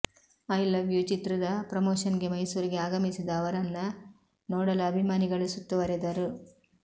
I love you ಚಿತ್ರದ ಪ್ರಮೋಷನ್ಗೆ ಮೈಸೂರಿಗೆ ಆಗಮಿಸಿದ ಅವರನ್ನ ನೋಡಲು ಅಭಿಮಾನಿಗಳು ಸುತ್ತುವರೆದರು